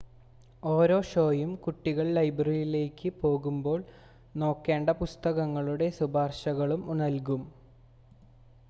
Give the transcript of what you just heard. ഓരോ ഷോയും കുട്ടികൾ ലൈബ്രറിയിലേക്ക് പോകുമ്പോൾ നോക്കേണ്ട പുസ്തകങ്ങളുടെ ശുപാർശകളും നൽകും